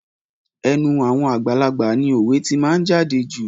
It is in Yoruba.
Ẹnu àwọn àgbàlagbà ni òwe tí máa ń jáde jù.